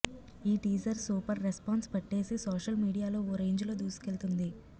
ఈ teaser super response పట్టేసి social మీడియాలో ఓ రేంజ్ లో దూసుకెళ్తోంది